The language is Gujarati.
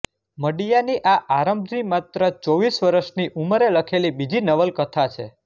મડિયાની આ આરંભની માત્ર ચોવીસ વરસની ઉંમરે લખેલી બીજી નવલકથા છે